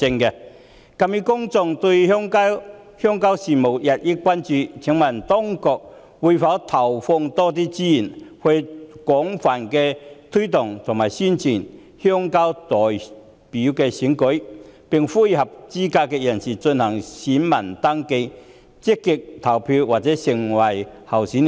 鑒於公眾對鄉郊事務日益關注，請問當局會否投放更多資源，廣泛推動和宣傳鄉郊代表選舉，並呼籲合資格人士進行選民登記，積極投票或成為候選人？